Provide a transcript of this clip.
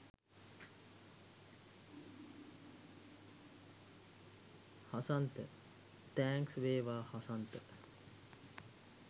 Hasantha thanks වේවා හසන්ත